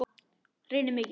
Reyni mikið.